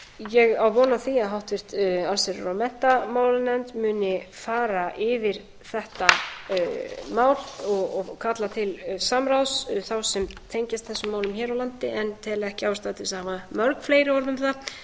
ég á von á því að háttvirt allsherjar og menntamálanefnd muni fara yfir þetta mál og kalla til samráðs þá sem tengjast þessum málum hér á landi en tel ekki ástæðu til þess að hafa mörg fleiri orð um það tel